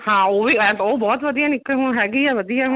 ਹਾਂ ਉਹ ਵੀ ਹੈਂ ਉਹ ਬਹੁਤ ਵਧੀਆ ਹੈਗੀ ਹੈ ਵਧੀਆ ਹੁਣ